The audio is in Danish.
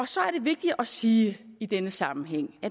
så er det vigtigt at sige i denne sammenhæng